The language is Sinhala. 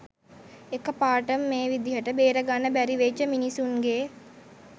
එක පාරටම මේ විදිහට බේරගන්න බැරි වෙච්ච මිනිස්සුන්ගේ